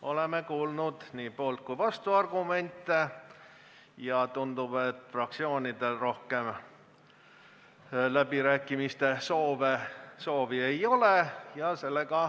Oleme kuulnud nii poolt- kui ka vastuargumente ja tundub, et fraktsioonidel rohkem läbirääkimiste soovi ei ole.